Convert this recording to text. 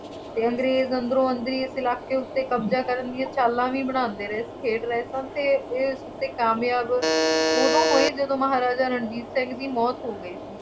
ਅਤੇ ਅੰਗਰੇਜ਼ ਅੰਦਰੋਂ ਅੰਦਰੀ ਇਸ ਇਲਾਕੇ ਉੱਤੇ ਕਬਜ਼ਾ ਕਰਨ ਦੀ ਚਾਲਾਂ ਵੀ ਬਣਾਉਂਦੇ ਰਹੇ ਅਤੇ ਇਸ ਉੱਤੇ ਕਾਮਯਾਬ ਉਦੋਂ ਹੋਏ ਜਦੋਂ ਮਹਾਰਾਜਾ ਰਣਜੀਤ ਸਿੰਘ ਦੀ ਮੌਤ ਹੌ ਗਈ